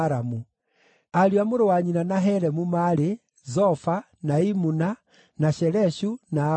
Ariũ a mũrũ wa nyina na Helemu maarĩ: Zofa, na Imuna, na Sheleshu, na Amali.